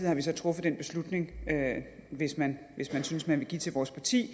har vi så truffet den beslutning at hvis man synes man vil give til vores parti